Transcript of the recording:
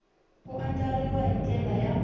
ku andlariwa hi ndlela ya